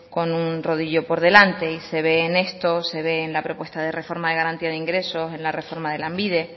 con un rodillo por delante y se ve en esto se ve en la propuesta de reforma de garantía de ingresos en la reforma de lanbide